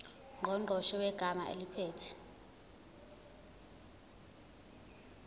ngqongqoshe wegatsha eliphethe